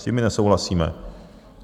S tím my nesouhlasíme.